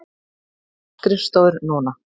Þar eru skrifstofur núna.